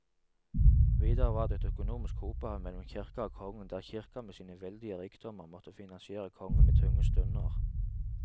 Videre var det et økonomisk hopehav mellom kirka og kongen, der kirka med sine veldige rikdommer måtte finansiere kongen i tunge stunder.